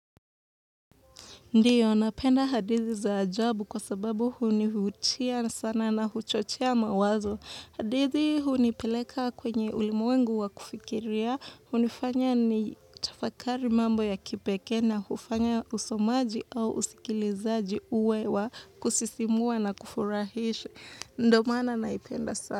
Ndiyo, napenda hadithi za ajabu kwa sababu hunivutia sana na huchochea mawazo. Hadithi hunipeleka kwenye ulimwengu wa kufikiria, hunifanya ni tafakari mambo ya kipekee na hufanya usomaji au usikilizaji uwe wa kusisimua na kufurahisha. Ndo mana naipenda sana.